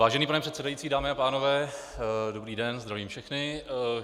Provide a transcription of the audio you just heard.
Vážený pane předsedající, dámy a pánové, dobrý den, zdravím všechny.